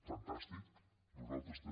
fantàstic nosaltres també